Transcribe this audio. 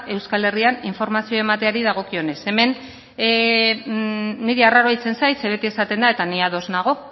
euskal herrian informazio emateari dagokionez hemen niri arraroa egiten zait ze beti esaten da eta ni ados nago